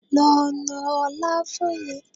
Lọ na ọlá fún mi!